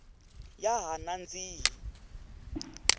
ya ha nandzihi